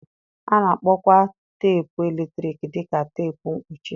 A na-akpọkwa teepu eletrik dị ka teepu mkpuchi.